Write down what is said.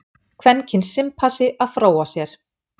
Kvenkyns simpansi að fróa sér.